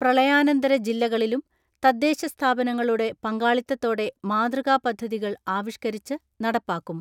പ്രളയാനന്തര ജില്ലകളിലും തദ്ദേശ സ്ഥാപനങ്ങളുടെ പങ്കാളിത്തത്തോടെ മാതൃകാ പദ്ധതികൾ ആവിഷ്ക്കരിച്ച് നടപ്പാക്കും.